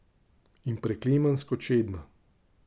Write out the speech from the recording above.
In preklemansko čedna.